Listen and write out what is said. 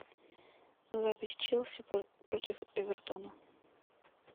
запись челси против эвертона